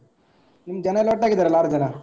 ನಿಮ್ ಜನಯೆಲ್ಲ ಒಟ್ಟಾಗಿದ್ದರಲ್ಲಾ ಆರು ಜನ?